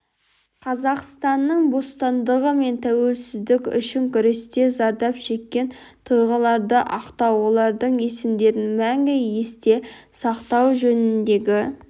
қазақстанның бостандығы мен тәуелсіздігі үшін күресте зардап шеккен тұлғаларды ақтау олардың есімдерін мәңгі есте сақтау жөніндегі